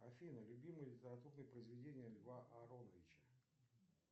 афина любимые произведения льва ароновича